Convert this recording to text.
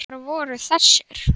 Sunna: Hvar voru þessir?